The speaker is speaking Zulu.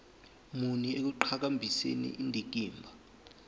muni ekuqhakambiseni indikimba